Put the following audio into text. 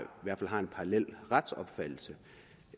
en parallel retsopfattelse